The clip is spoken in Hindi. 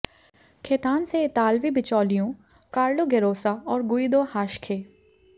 खेतान से इतालवी बिचौलियों कार्लो गेरोसा और गुइदो हाश्खे